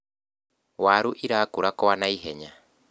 waru irakura kwa naihenya